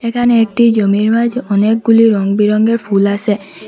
এখানে একটি জমির মাঝে অনেকগুলি রঙবেরঙের ফুল আসে ।